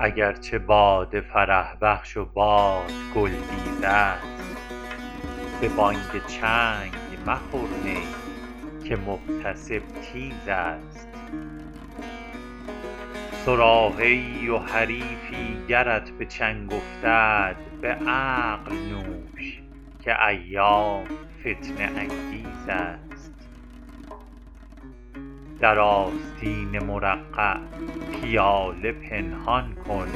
اگر چه باده فرح بخش و باد گل بیز است به بانگ چنگ مخور می که محتسب تیز است صراحی ای و حریفی گرت به چنگ افتد به عقل نوش که ایام فتنه انگیز است در آستین مرقع پیاله پنهان کن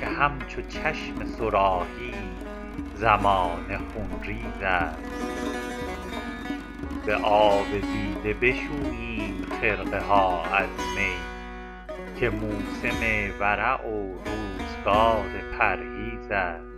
که همچو چشم صراحی زمانه خونریز است به آب دیده بشوییم خرقه ها از می که موسم ورع و روزگار پرهیز است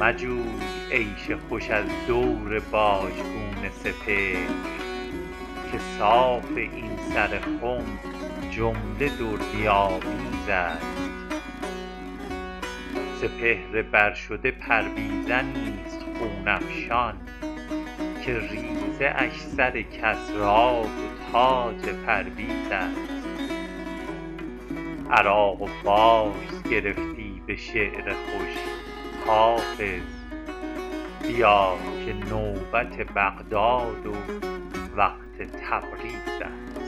مجوی عیش خوش از دور باژگون سپهر که صاف این سر خم جمله دردی آمیز است سپهر بر شده پرویزنی ست خون افشان که ریزه اش سر کسری و تاج پرویز است عراق و فارس گرفتی به شعر خوش حافظ بیا که نوبت بغداد و وقت تبریز است